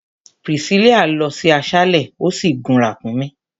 Priscilla lọ sí aṣálẹ̀, ò sì gun ràkúnmí.